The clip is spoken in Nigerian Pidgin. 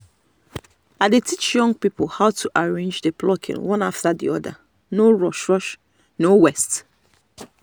i dey teach young people how to arrange the plucking one after the other no rush-no waste.